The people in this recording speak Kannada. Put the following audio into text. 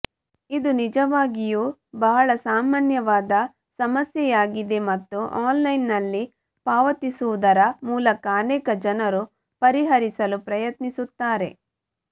ಇದು ನಿಜವಾಗಿಯೂ ಬಹಳ ಸಾಮಾನ್ಯವಾದ ಸಮಸ್ಯೆಯಾಗಿದೆ ಮತ್ತು ಆನ್ಲೈನ್ನಲ್ಲಿ ಪಾವತಿಸುವುದರ ಮೂಲಕ ಅನೇಕ ಜನರು ಪರಿಹರಿಸಲು ಪ್ರಯತ್ನಿಸುತ್ತಾರೆ